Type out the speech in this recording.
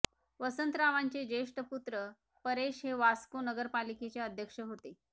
वसंतरावांचे ज्येष्ठ पुत्र परेश हे वास्को नगरपालिकेचे अध्यक्ष होते